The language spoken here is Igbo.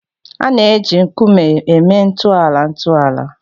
A na-eji nkume eme ntọala ntọala